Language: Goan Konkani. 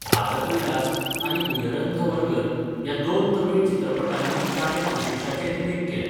भारतविलास' आनी 'उयरंधवर्गल' ह्या दोन तमिळ चित्रपटांनी ताणें कोशीशाचें रिमेक केलें.